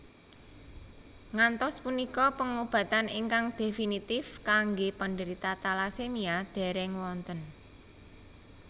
Ngantos punika pengobatan ingkang definitive kanggé penderita talasemia dèrèng wonten